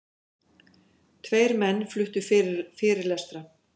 Tveir menn fluttu fyrirlestra.